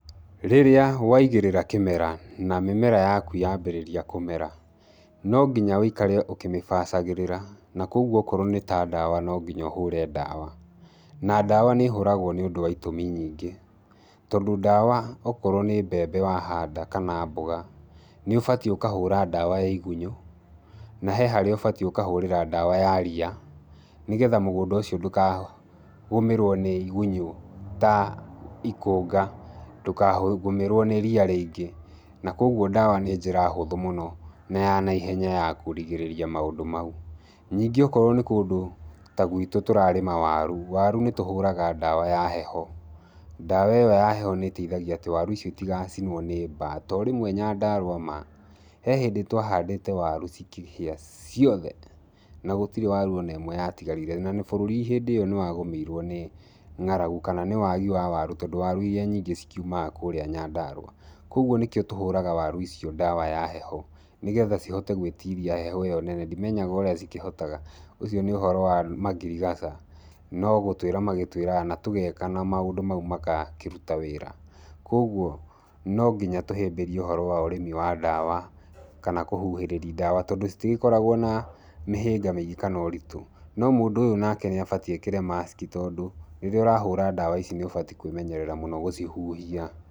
Rĩrĩa waigĩrĩra kĩmera na mĩmera yaku yambĩrĩria kũmera, no nginya woikare ũkĩmĩbacagĩrĩra. Na koguo okorwo nĩ ta ndawa no nginya ũhũre ndawa. Na ndawa nĩ ĩhũragwo nĩ ũndũ wa itũmi nyingĩ, tondũ ndawa okorwo nĩ mbembe wahanda, kana mboga, nĩ ũbatiĩ ũkahũra ndawa ya igunyũ, na he harĩa ũbatiĩ ũkahũrĩra ndawa ya ria, nĩgetha mũgũnda ũcio ndũkagũmĩrwo nĩ igunyũ ta ikũnga, ndũkagũmĩrwo nĩ ria rĩingĩ. Na koguo ndawa nĩ njĩra hũthũ mũno na ya naihenya ya kũrigĩrĩria maũndũ mau. Ningĩ okorwo nĩ kũndũ ta gwitũ tũrarĩma waru, waru nĩ tũhũraga ndawa ya heho. Ndawa ĩyo ya heho nĩ ĩteithagia atĩ waru icio itigacinwo nĩ mbaa, to rĩmwe Nyandarua maa, he hĩndĩ twahandĩte waru cikĩhĩa ciothe na gũtirĩ waru ona ĩmwe yatigarire. Na bũrũri hĩndĩ ĩyo nĩ wagũmĩirwo nĩ ngaragu, kana nĩ wagii wa waru tondũ waru iria nyingĩ cikiumaga kũrĩa Nyandarua. Koguo nĩkĩo tũhũraga waru icio ndawa ya heho nĩgetha cihote gwĩtiria heho ĩyo nene. Ndĩmenyaga ũrĩa cikĩhotaga, ũcio nĩ ũhoro wa mangirigaca, no gũtwĩra magĩtwĩraga na tũgeka na maũndũ mau magakĩruta wĩra. Koguo no nginya tũhĩmbĩrie ũhoro wa ũrĩmi wa ndawa, kana kũhuhĩrĩria ndawa tondũ citigĩkoragwo na mĩhĩnga mĩingĩ kana ũritũ. No mũndũ ũyũ nake nĩ abatiĩ ekĩre mask tondũ rĩrĩa ũrahũra ndawa ici nĩ ũbatiĩ kwĩmenyerera mũno gũcihuhia.